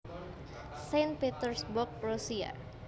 Saint Petersburg Rusia